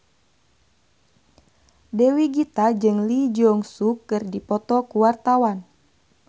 Dewi Gita jeung Lee Jeong Suk keur dipoto ku wartawan